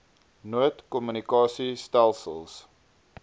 nood kommunikasie stelsels